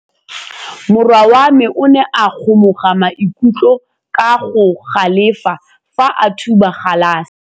Morwa wa me o ne a kgomoga maikutlo ka go galefa fa a thuba galase.